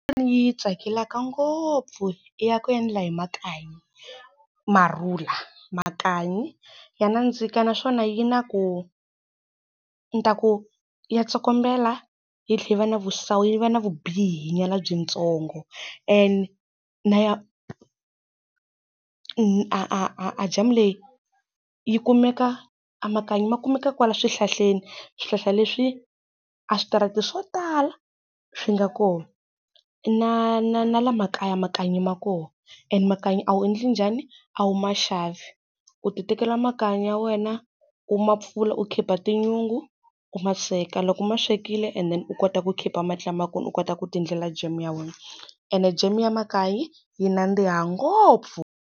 Ni yi tsakelaka ngopfu i ya ku endla hi makanyi, marula. Makanyi ya nandzika naswona yi na ku ndzi ta ku ya tsokombela, yi tlhela va na vu-sour yi va na vubihi nyana byi ntsongo. Ene a a ajamu leyi yi kumeka amakanyi ma kumeka kwala swihlahleni, swihlahla leswi aswitarata swo tala swi nga kona. Na na na laha makaya makanyi ma koho and makanyi a wu endli njhani? A wu ma xavi. U ti tekela makanyi ya wena ku ma pfula u keep-a tinyungu, u ma sweka. Loko u ma swekile, u kota ku keep-a mali lama kona, u kota ku ti endlela jamu ya wena. Ene jamu ya makaya yi nandziha ngopfu.